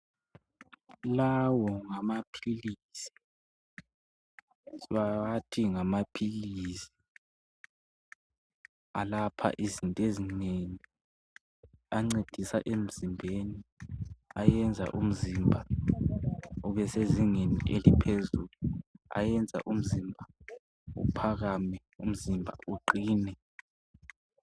Lawo ngamaphilisi bawathi ngamaphilisi alapha izinto ezinengi ancedisa emzembeni ayenza umzimba ube sezingeni eliphezulu ayenza umzimba uphakame umzimba uqine.